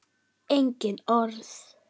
Engin orð.